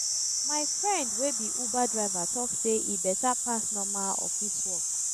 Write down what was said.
my friend wey be uber driver tok sey e beta pass normal office work.